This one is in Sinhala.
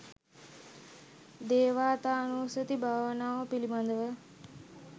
දේවතානුස්සති භාවනාව පිළිබඳව